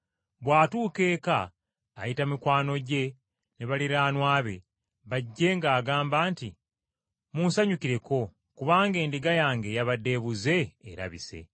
Bw’atuuka eka ayita mikwano gye ne baliraanwa be bajje ng’agamba nti, ‘Munsanyukireko kubanga endiga yange eyabadde ebuze, erabise.’